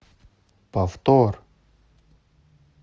повтор